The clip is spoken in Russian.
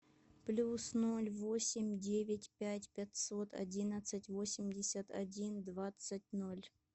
плюс ноль восемь девять пять пятьсот одиннадцать восемьдесят один двадцать ноль